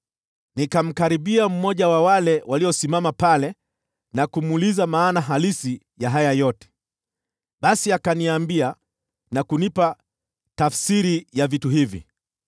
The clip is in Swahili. Nikamkaribia mmoja wa wale waliosimama pale na kumuuliza maana halisi ya haya yote. “Basi akaniambia na kunipa tafsiri ya vitu hivi: